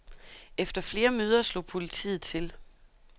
Efter flere møder slog politiet til.